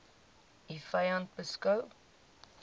u vyand beskou